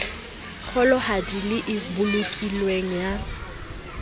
kgolohadi le e bolokilweng ya